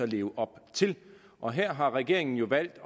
leve op til og her har regeringen jo valgt